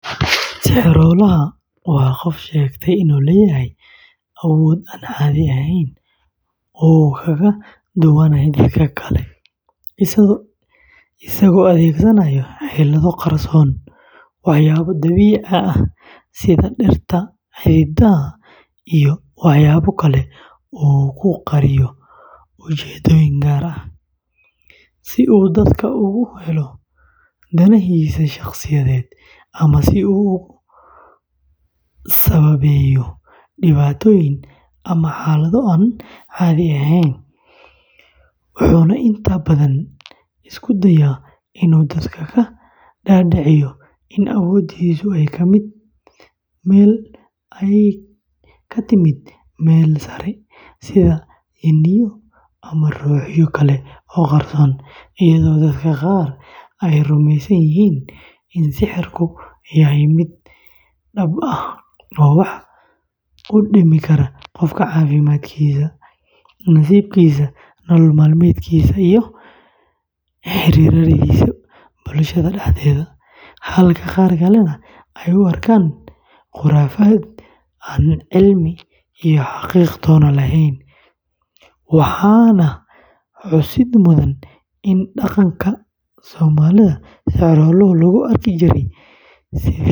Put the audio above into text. Sixiroolaha waa qof sheegta inuu leeyahay awood aan caadi ahayn oo uu kaga duwanyahay dadka kale, isagoo adeegsanaya xeelado qarsoon, waxyaabo dabiici ah sida dhirta, xididada, iyo waxyaabo kale oo uu ku qariyo ujeedooyin gaar ah, si uu dadka uga helo danahiisa shakhsiyadeed ama si uu ugu sababeeyo dhibaatooyin ama xaalado aan caadi ahayn, wuxuuna inta badan isku dayaa inuu dadku ka dhaadhiciyo in awooddiisa ay ka timid meel sare sida jinniyo ama ruuxyo kale oo qarsoon, iyadoo dadka qaar ay rumaysan yihiin in sixirku yahay mid dhabta ah oo wax u dhimi kara qofka caafimaadkiisa, nasiibkiisa, nolol-maalmeedkiisa iyo xiriirradiisa bulshada dhexdeeda, halka qaar kalena ay u arkaan khuraafaad aan cilmi iyo xaqiiqo toona lahayn, waxaana xusid mudan in dhaqanka.